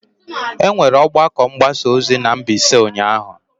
E nwere ọgbakọ mgbasa ozi na Mbaise ụnyahụ.